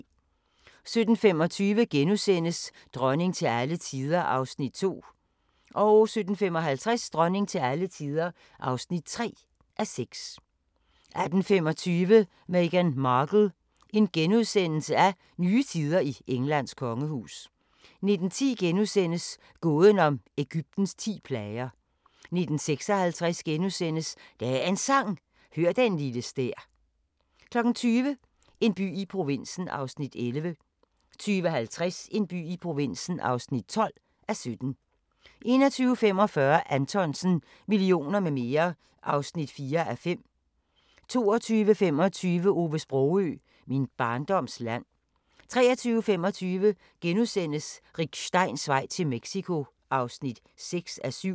17:25: Dronning til alle tider (2:6)* 17:55: Dronning til alle tider (3:6) 18:25: Meghan Markle - nye tider i Englands kongehus * 19:10: Gåden om Egyptens ti plager * 19:56: Dagens Sang: Hør den lille stær * 20:00: En by i provinsen (11:17) 20:50: En by i provinsen (12:17) 21:45: Anthonsen - Millioner med mere (4:5) 22:25: Ove Sprogøe – Min barndoms land 23:25: Rick Steins vej til Mexico (6:7)*